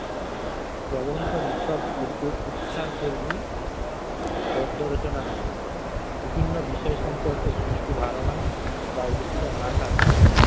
প্রবন্ধ নিছক উচ- উচ্ছাসধর্মী গদ্য-রচনা নয়, বিভিন্ন বিষয় সম্পর্কে সুষ্ঠ ধারণা বা অনুশীলন না থাকলে